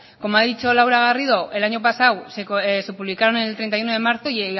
como lo ha dicho laura garrido el año pasado se publicaron el treinta y uno de marzo